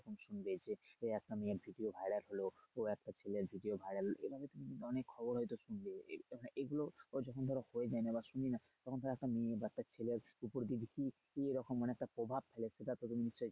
দেখবে সে এখন মেয়ের video viral হলো ও একটা ছেলের video viral এভাবে অনেক কিন্তু অনেক খবর হয়তো শুনবে এরকম এগুলোও যখন ধরো হয়ে যায় বা শুনি না তখন একটা মেয়ে বা ছেলে উপর কি রকম মানে একটা প্রভাব ফেলে সেটা তুমি নিশ্চয়ই।